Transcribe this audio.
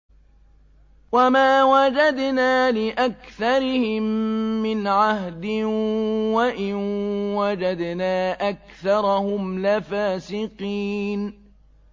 وَمَا وَجَدْنَا لِأَكْثَرِهِم مِّنْ عَهْدٍ ۖ وَإِن وَجَدْنَا أَكْثَرَهُمْ لَفَاسِقِينَ